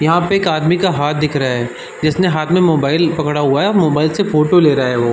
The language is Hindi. यहाँ पे एक आदमी का हाँथ दिख रहा है जिसने हाथ में मोबाइल पकड़ा हुआ है। मोबाइल से फोटो ले रहा है वो।